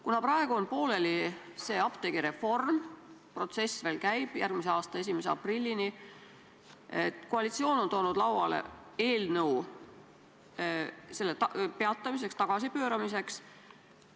Kuna praegu on apteegireform veel pooleli, protsess käib järgmise aasta 1. aprillini, on koalitsioon toonud lauale eelnõu selle peatamiseks, tagasipööramiseks.